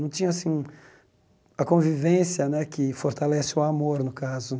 Não tinha assim a convivência né que fortalece o amor, no caso.